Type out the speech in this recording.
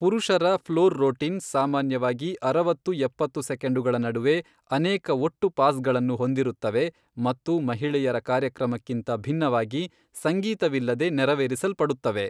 ಪುರುಷರ floor routine ಸಾಮಾನ್ಯವಾಗಿ ಅರವತ್ತು ಎಪ್ಪತ್ತು ಸೆಕೆಂಡುಗಳ ನಡುವೆ ಅನೇಕ ಒಟ್ಟು ಪಾಸ್ಗಳನ್ನು ಹೊಂದಿರುತ್ತವೆ ಮತ್ತು ಮಹಿಳೆಯರ ಕಾರ್ಯಕ್ರಮಕ್ಕಿಂತ ಭಿನ್ನವಾಗಿ, ಸಂಗೀತವಿಲ್ಲದೆ ನೆರವೇರಿಸಲ್ಪಡುತ್ತವೆ.